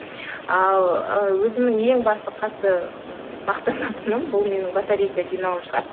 ал ы өзімнің ең басты қатты ммм мақтанатыным бұл менің батарейка жинауым шығар